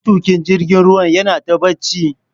matukin jirgin ruwan yinata bacci